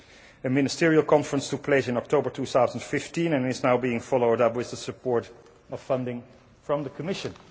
A ministerial conference took place in October 2015 and is now being followed up with the support of funding from the Commission.